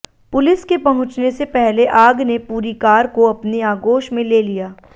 police के पहुंचने से पहले आग ने पूरी कार को अपनी आगोश में ले लिया